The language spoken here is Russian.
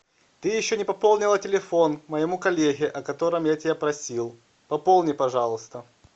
ты еще не пополнила телефон моему коллеге о котором я тебя просил пополни пожалуйста